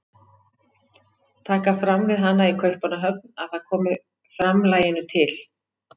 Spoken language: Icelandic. Taka fram við hana í Kaupmannahöfn að það komi framlaginu til